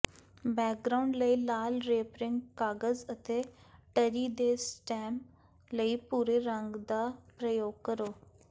background ਲਈ ਲਾਲ wrapping ਕਾਗਜ਼ ਅਤੇ ਟਰੀ ਦੇ ਸਟੈਮ ਲਈ ਭੂਰੇ ਰੰਗ ਦਾ ਪ੍ਰਯੋਗ ਕਰੋ